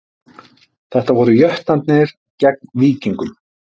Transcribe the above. Þetta voru Jötnarnir gegn Víkingum